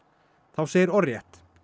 þá segir orðrétt